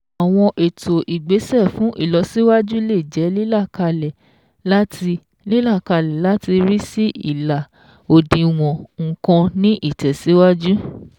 Àwọn ètò ìgbésẹ̀ fún ìlọsíwájú lè jẹ́ lílàkalẹ̀ láti lílàkalẹ̀ láti rí sí ìlà òdiwọ̀n nǹkan ní ìtẹ̀síwájú